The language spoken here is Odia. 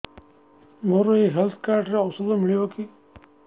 ମୋର ଏଇ ହେଲ୍ଥ କାର୍ଡ ରେ ଔଷଧ ମିଳିବ କି